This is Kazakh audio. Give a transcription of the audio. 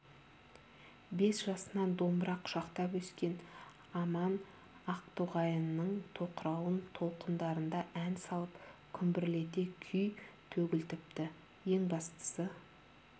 бес жасынан домбыра құшақтап өскен аман ақтоғайының тоқырауын толқындарында ән салып күмбірлете күй төгілтіпті ең бастысы